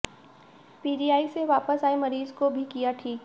PGI से वापस आए मरीज को भी किया ठीक